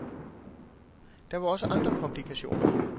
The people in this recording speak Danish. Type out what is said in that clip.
Der var også andre komplikationer.